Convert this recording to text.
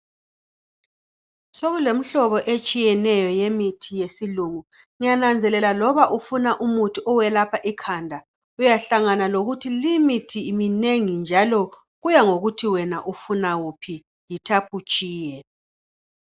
Sokulemuthi eminengi etshiyeneyo yesilungu. Ngiyananzelela loba ufuna umuthi owelapha ikhanda uyahlangana lokuthi limithi iminengi njalo kuyangokuthi wena ufuna wuphi yithapha utshiye